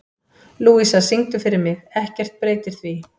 Lúísa, syngdu fyrir mig „Ekkert breytir því“.